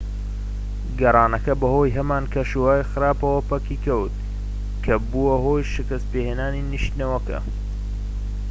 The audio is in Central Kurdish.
گەڕانەکە بەهۆی هەمان کەشوهەوای خراپەوە پەکی کەوت کە بووە هۆی شکت پێهێنانی نیشتنەوەکە